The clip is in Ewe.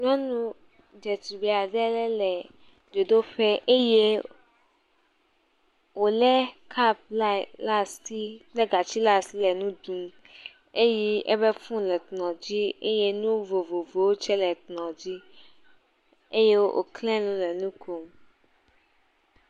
Nyɔnu dzetugbi aɖe le le dzodoƒe eye wole kap le asi kple gati le asi le nu ɖum eye eƒe fone le kplɔ̃ dzi eye nu vovovowo tsɛ le kplɔ̃ dzi eye woklẽ nu le nu kom.